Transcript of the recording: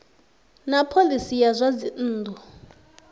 na phoisi ya zwa dzinnu